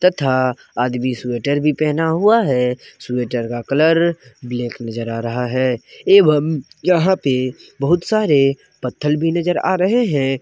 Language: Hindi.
तथा आदमी स्वेटर भी पहना हुआ है स्वेटर का कलर ब्लैक नजर आ रहा है एवंम यहां पे बहुत सारे पत्थर भी नजर आ रहे हैं।